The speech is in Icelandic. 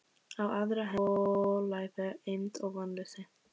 Á aðra hönd volæði, eymd og vonleysi.